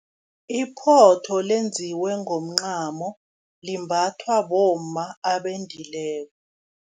Iphotho lenziwe ngomncamo, limbathwa bomma abendileko.